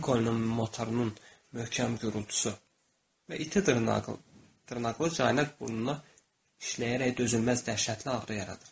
Linkonun motorunun möhkəm gurultusu və iti dırnaqlı Caynen burnuna işləyərək dözülməz dəhşətli ağrı yaradır.